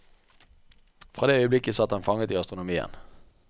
Fra det øyeblikk satt han fanget i astronomien.